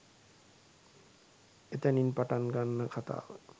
එතනින් පටන් ගන්න කතාව